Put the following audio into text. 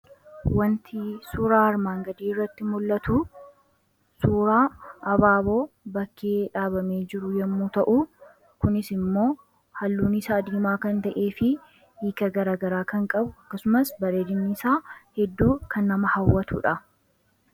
Wanti suuraa armaan gadii irratti mul'atu suuraa abaaboo bakkee dhaabamee jiru yommuu ta'u kunis immoo halluun isaa diimaa kan ta'ee fi hiika garaagaraa kan qabu akkasumas bareedinni isaa hedduu kan nama hawwatuudha.